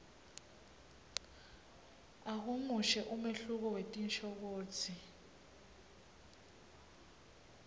ahumushe umehluko wetinshokutsi